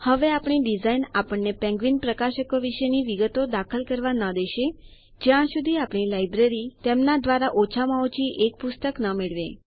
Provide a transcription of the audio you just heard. હવે આપણી ડીઝાઇન આપણને પેન્ગ્વીન પ્રકાશકો વિશેની વિગતો દાખલ કરવા દેશે નહી જ્યાં સુધી આપણી લાઈબ્રેરી તેમના દ્વારા ઓછામાં ઓછી એક પુસ્તક ન મેળવે